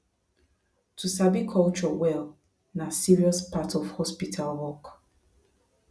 to sabi culture well na serious part of hospital work